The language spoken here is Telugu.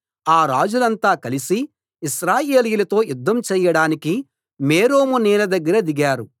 ఆ రాజులంతా కలిసి ఇశ్రాయేలీయులతో యుద్ధం చేయడానికి మేరోము నీళ్ల దగ్గర దిగారు